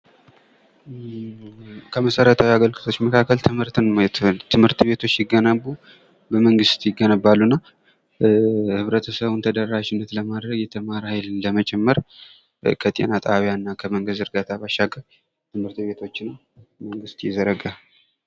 ከመሰረታዊ አገልግሎቶች መካከል ትምህርትን ማዬት እንችላለን። ትምህርት ቤቶች ሲገነቡ በመንግስት ይገነባሉና ህብረተሰቡን ተደራሽነት ለማድረግ የተማረ ሀይልን ለመጨመር ከጤና ጣቢያና ከመንገድ ዝርጋታ ባሻገር ትምህርት ቤቶችን መንግስት ይዘረጋል።